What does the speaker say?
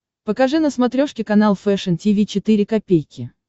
покажи на смотрешке канал фэшн ти ви четыре ка